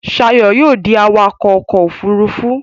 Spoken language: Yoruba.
Shayo yóò dì awakọ ọkọ òfurufú.